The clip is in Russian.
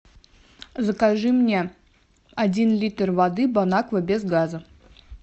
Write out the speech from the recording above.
закажи мне один литр воды бонаква без газа